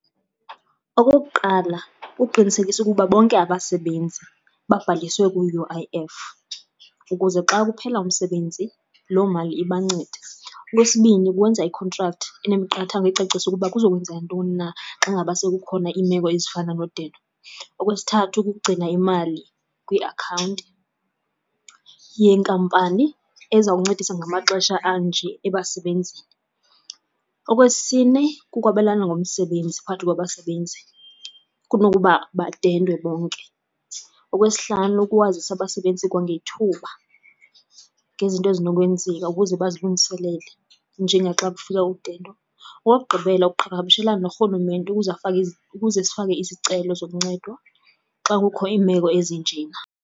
Okokuqala kuqinisekisa ukuba bonke abasebenzi babhaliswe ku-U_I_F ukuze xa kuphela umsebenzi loo mali ibancede. Okwesibini, kwenza i-contract anemiqathango ecacisa ukuba kuza kwenzeka ntoni na xa ngaba sekukhona iimeko ezifana nondedo. Okwesithathu, kukugcina imali kwiakhawunti yenkampani ezawuncedisa ngamaxesha anje ebasebenzini. Okwesine, kukwabelana ngomsebenzi phakathi kwabasebenzi kunokuba badendwe bonke. Okwesihlanu, kuwazisa abasebenzisi kwangethuba ngezinto ezinokwenzeka ukuze bazilungiselele njengaxa kufika udendo. Okokugqibela, ukuqhagamshelana norhulumente ukuze afake, ukuze sifake izicelo zokuncedwa xa kukho iimeko ezinjena.